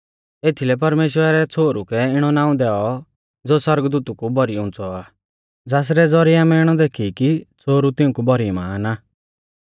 एथीलै परमेश्‍वरै छ़ोहरु कै इणौ नाऊं दैऔ ज़ो सौरगदूतु कु भौरी उंच़ौ आ ज़ासरै ज़ौरिऐ आमै इणौ देखी कि छ़ोहरु तिउंकु भौरी महान आ